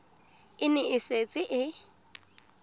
e ne e setse e